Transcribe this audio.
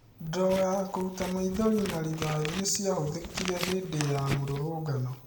Ndogo ya kũruta maithori na rĩthathi nĩ ciahũthĩkire hĩndĩ ya mũrũrũngano